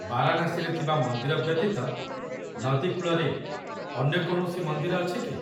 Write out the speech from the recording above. ବାରାଣାସୀରେ ଥିବା ମନ୍ଦିର ବ୍ୟତୀତ ନଦୀ କୂଳରେ ଅନ୍ୟ କୌଣସି ମନ୍ଦିର ଅଛି କି?